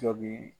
Cɔ bi